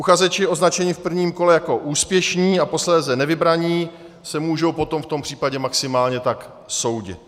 Uchazeči označení v prvním kole jako úspěšní a posléze nevybraní se můžou potom v tom případě maximálně tak soudit.